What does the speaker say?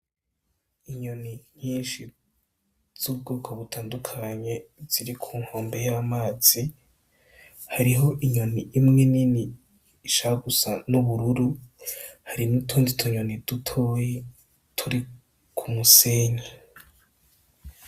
Inyoni nyishi z'ubwoko butandukanye ziri kunkombe y'amazi, hariho inyoni imwe ninini ishaka gusa n'ubururu hari n'utundi tunyoni dutoyi turi k'umusenyi.